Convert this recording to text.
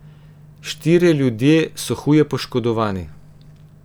Štirje ljudje so huje poškodovani.